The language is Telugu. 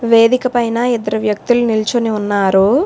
వేదిక పైన ఇద్దరు వ్యక్తులు నిల్చుని ఉన్నారు.